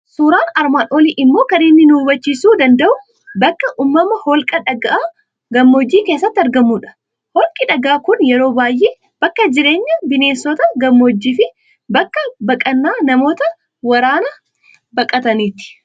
Suuraan armaan olii immoo kan inni nu hubachiisuu danda'u bakka uumamaa holqa dhagaa gammoojjii keessatti argamudha. Holqi dhagaa kun yeroo baay'ee bakka jireenya bineensota gammooojii fi abkka baqannaa namoota waraana baqataniiti.